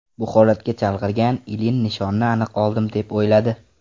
Bu holatga chalg‘igan Ilin nishonni aniq oldim deb o‘yladi.